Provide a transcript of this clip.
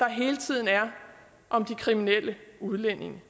hele tiden er om de kriminelle udlændinge